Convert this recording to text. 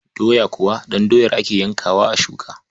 Doya kuwa ɗan doyar ake yayyankawa a shuka.